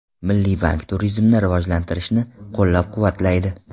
Milliy bank turizmni rivojlantirishni qo‘llab-quvvatlaydi.